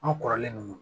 An kɔrɔlen don